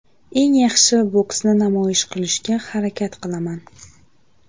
Eng yaxshi boksni namoyish qilishga harakat qilaman.